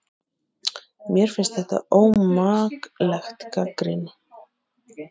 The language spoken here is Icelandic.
Mér finnst þetta ómakleg gagnrýni